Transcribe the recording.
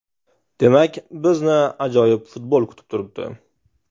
Demak bizni ajoyib futbol kutib turibdi.